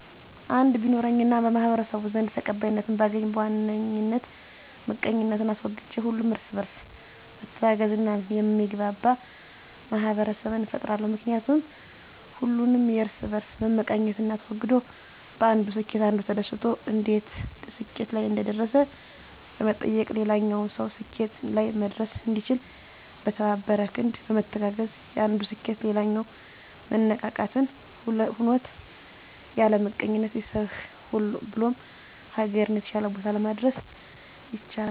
እድል ቢኖረኝ እና በማህበረሰቡ ዘንድ ተቀባይነትን ባገኝ በዋነኝ ምቀኝነትን አስወግጄ ሁሉም እርስ በእርስ ሚተጋገዝ እና የሚግባባ ማህበረሰብን እፈጥራለሁ። ምክንያቱም ሁሉም የእርስ በእርስ መመቀኛኘትን አስወግዶ በአንዱ ስኬት አንዱ ተደስቶ እንዴት ስኬት ላይ እንደደረሰ በመጠየቅ ሌላኛውም ሰው ስኬት ላይ መድረስ እንዲችል። በተባበረ ክንድ በመተጋገዝ የአንዱ ስኬት ሌላው መነቃቃትን ሆኖት ያለምቀኝነት ቤተሰብህ ብሎም ሀገርን የተሻለ ቦታ ማድረስ ይቻላል።